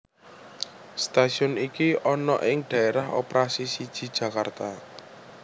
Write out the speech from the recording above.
Stasiun iki ana ing Daerah Operasi siji Jakarta